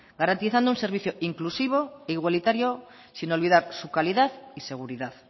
garantizando un servicio inclusivo e igualitario sin olvidar su calidad y seguridad